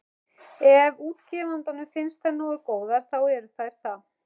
Ef útgefandanum finnst þær nógu góðar, þá eru þær það.